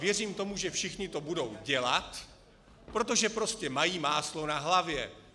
Věřím tomu, že všichni to budou dělat, protože prostě mají máslo na hlavě.